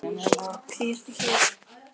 Arthur, hvað er opið lengi í Tríó?